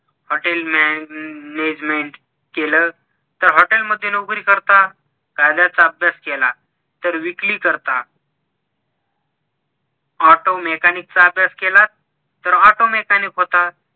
hotel management केल तर hotel मध्ये नोकरी करता कायद्याचा अभ्यास केला तर विकली करता auto mechanic चा अभ्यास केला तर auto mechanic होतात